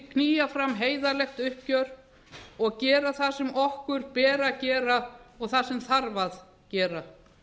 knýja fram heiðarlegt uppgjör og gera það sem okkur ber að gera og það sem þarf að gera